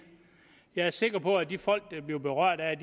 jeg er sikker på at de folk der bliver berørt af